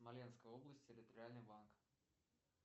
смоленская область территориальный банк